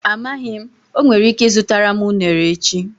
Amaghị m, o nwere ike ịzụtara m unere echi.